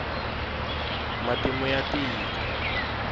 matimu ya tiko